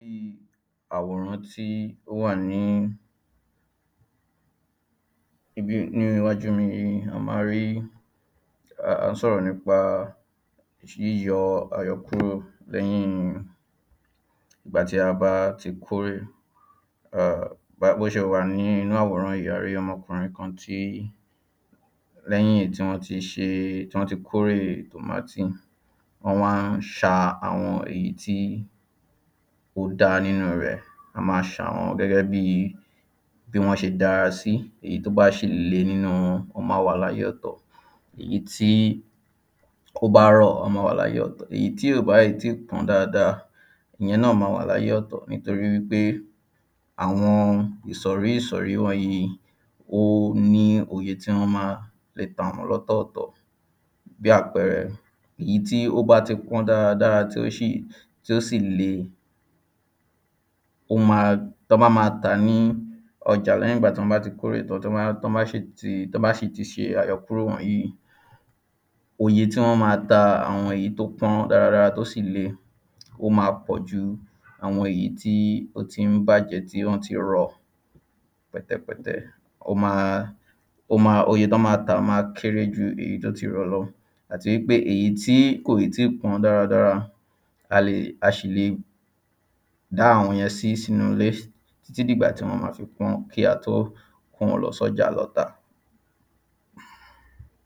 ní àwòrán tí ó wà ní ibi ni iwájú mi yìí, a máa rí, a ń sọ́rọ̀ nípa yíyọ àyọkúrò lẹ́yin nígbà tí a bá ti kórè. bó ṣe wà ní inú àwòrán yìí, a rí ọmọkùnrin kan tí lẹ́yìn tí wọ́n ti ṣe, tí wọ́n kórè tòmátì wọ́n máa ń ṣa àwọn èyí tí ò dáa nínú rẹ̀, wọ́n máa ṣà wọ́n gẹ́gẹ́bíi bí wọ́n ṣe dárasí èyí tó bá ṣì le nínú wọn, wọ́n máa wà láyè ọ̀tọ̀ èyí tí ó bá rọ̀, wọ́n máa wà láyè ọ̀tọ̀, èyí tí ò bá ì tíì pọ́n dáadáa, ìyẹn náà máa wà láyè ọ̀tọ̀ nítorípé àwọn ìsọ̀rísọ̀rí wọnyìí ó ní oye tí wọ́n máa lè tàwọ́n lọ́tọ̀tọ̀ bí àpẹrẹ, ìyí tí ó bá pọ̀n dáradára tí ó ṣì, tí ó sì le ó máa tán bá máa tàá ní ọjà lẹ́hìn ìgbà tọ́n bá ti kórè tán, tán bá, tán bá ṣì tán ba ṣì ti ṣe àyọkúrò wọ̀nyìí oye tí wọ́n máa ta àwọn èyí tó pọ́n dáradára tó sì le, ó máa pọ̀ju àwọn èyí tí ó ti ń bàjẹ́ tí wọ́n ti rọ pẹ̀tẹ̀pẹ̀tẹ̀, ó máa, ó máa, oye tán máa tàá ó máa kéré ju èyí tó ti rọ̀ lọ. àti wípé èyí tí kò í tíì pọ́n dáradára a lè, a sì lè dá àwọn yẹn sí sínú ilé títí dì ìgbà tí wọ́n máa fi pọ́n kí a tó kowọ́n lọ sọ́jà lọ tà.